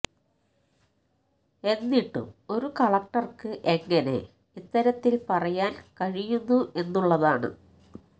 എന്നിട്ടും ഒരു കളക്ടര്ക്ക് എങ്ങനെ ഇത്തരത്തില് പറയാന് കഴിയുന്നു എന്നുള്ളതാണ്